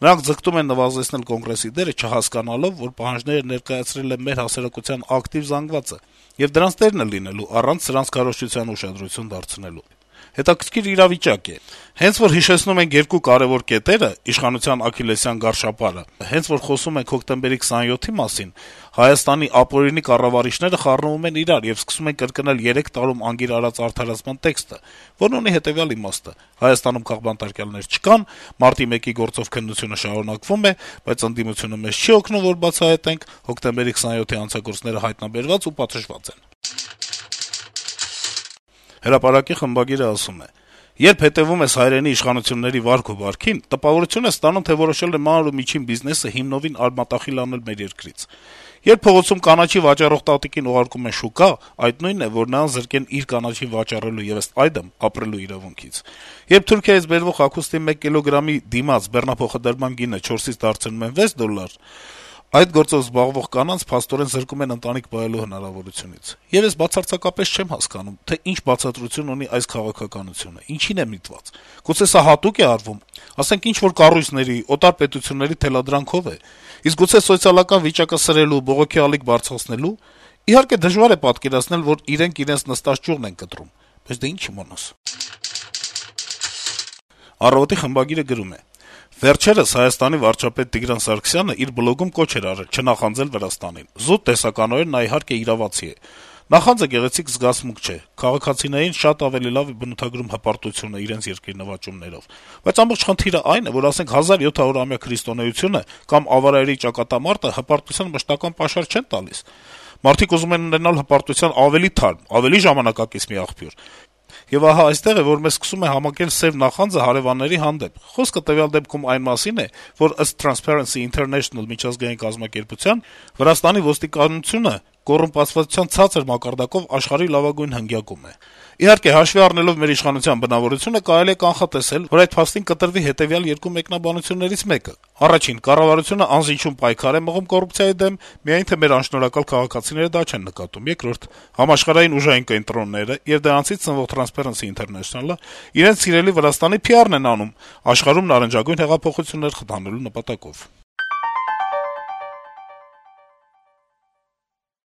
Նրանք ձգտում են նվազեցնել Կոնգրեսի դերը` «չհասկանալով», որ պահանջները ներկայացրել է մեր հասարակության ակտիվ զանգվածը եւ դրանց տերն է լինելու` առանց սրանց քարոզչությանը ուշադրություն դարձնելու: Հետաքրքիր իրավիճակ է. հենց որ հիշեցնում ենք երկու կարեւոր կետերը` իշխանության աքքիլեսյան գարշապարը, հենց որ խոսում ենք հոկտեմբերի 27-ի մասին, Հայաստանի ապօրինի կառավարիչները խառնվում են իրար եւ սկսում են կրկնել երեք տարի անգիր արած արդարացման տեքստը, որն ունի հետեւյալ «իմաստը»` Հայաստանում քաղբանտարկյալներ չկան, մարտի 1-ի գործով քննությունը շարունակվում է, բայց ընդդիմությունը մեզ չի օգնում, որ բացահայտենք, հոկտեմբերի 27-ի հանցագործները հայտնաբերված ու պատժված են»: «Հրապարակ»-ի խմբագիրը գրում է. - «Երբ հետեւում ես հայրենի իշխանությունների վարք ու բարքին, տպավորություն ես ստանում, թե որոշել են մանր ու միջին բիզնեսը հիմնովին արմատախիլ անել մեր երկրից: Երբ փողոցում կանաչի վաճառող տատիկին ուղարկում են շուկաներ, այդ նույնն է, որ նրան զրկեն իր կանաչին վաճառելու եւ ըստ այդմ՝ ապրելու իրավունքից: Երբ Թուրքիայից բերվող հագուստի մեկ կիլոգրամի դիմաց բեռնափոխադրման գինը 4-ից դարձնում են 6 դոլար եւ զգուշացնում, որ առաջիկայում դառնալու է 8, այդ գործով զբաղվող կանանց, փաստորեն, զրկում են ընտանիք պահելու հնարավորությունից: Եվ ես բացարձակապես չեմ հասկանում, թե ինչ բացատրություն ունի այս քաղաքականությունը, ինչին է միտված: Գուցե սա հատո՞ւկ է արվում: Ասենք, ինչ-որ կառույցների, օտար պետությունների թելադրանքով է: Իսկ գուցե սոցիալական վիճակը սրելու, բողոքի ալիք բարձրացնելո՞ւ: Իհարկե, դժվար է պատկերացնել, որ իրենք իրենց նստած ճյուղն են կտրում: Բայց դե ի՞նչ իմանաս»: «Առավոտ»-ի խմբագիրը գրում է. - «Վերջերս ՀՀ վարչապետ Տիգրան Սարգսյանը իր բլոգում կոչ էր արել` չնախանձել Վրաստանին: Զուտ տեսականորեն նա, իհարկե, իրավացի է: Նախանձը գեղեցիկ զգացմունք չէ, քաղաքացիներին շատ ավելի լավ է բնութագրում հպարտությունը իրենց երկրի նվաճումներով: Բայց ամբողջ խնդիրը այն է, որ, ասենք, 1700-ամյա քրիստոնեությունը կամ Ավարայրի ճակատամարտը հպատության «մշտական պաշար» չեն տալիս: Մարդիկ ուզում են ունենալ հպարտության ավելի թարմ, ավելի ժամանակակից մի աղբյուր: Եվ ահա այստեղ է, որ մեզ սկսում է համակել «սեւ նախանձը» հարեւանների հանդեպ: Խոսքը տվյալ դեպքում այն մասին է, որ ըստ «Թրանսփարենսի Ինթերնեշնլ» միջազգային կազմակերպության, Վրաստանի ոստիկանությունը կոռումպացվածության ցածր մակարդակով աշխարհի լավագույն հնգյակում է: Իհարկե, հաշվի առնելով մեր իշխանության «բնավորությունը», կարելի է կանխատեսել, որ այդ փաստին կտրվի հետեւյալ երկու մեկնաբանություններից մեկը. 1. Կառավարությունը անզիջում պայքար է մղում կոռուպցիայի դեմ, միայն թե մեր անշնորհակալ քաղաքացիները դա չեն նկատում: 2. Համաշխարհային ուժային կենտրոնները եւ դրանցից սնվող «Թրանսփարենսի Ինթերնեշնլ»-ը իրենց սիրելի Վրաստանի PR-ն են անում` աշխարհում նարնջագույն հեղափոխություններ խթանելու նպատակով»: